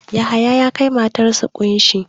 Yahaya ya kai matarsa ƙunshi.